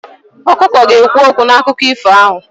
Ọkụkọ ga-ekwu okwu n'akụkọ ifo ahụ.